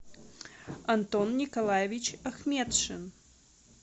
антон николаевич ахметшин